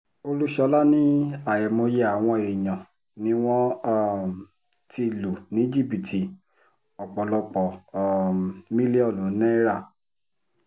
olúṣọlá ní àìmọye àwọn èèyàn ni wọ́n um ti lù ní jìbìtì ọ̀pọ̀lọpọ̀ um mílíọ̀nù náírà